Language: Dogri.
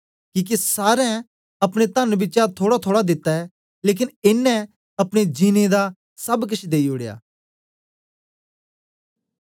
किके सारें अपने तन्न बिचा थोड़ाथोड़ा दित्ता ऐ लेकन एनें अपने जीनें दा सब केश देई ओड़या